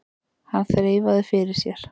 Hann þreifaði fyrir sér.